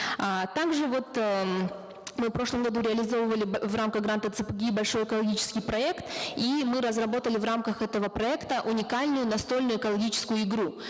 а также вот эээ мы в прошлом году реализовывали в рамках гранта цпги большой экологический проект и мы разработали в рамках этого проекта уникальную настольную экологическую игру